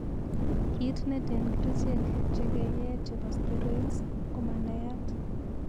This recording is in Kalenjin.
Kit neten kerichek che keye chepo steroids koma nayat.